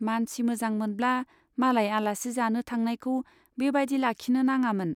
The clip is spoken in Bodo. मानसि मोजांमोनब्ला मालाय आलासि जानो थांनायखौ बे बाइदि लाखिनो नाङामोन।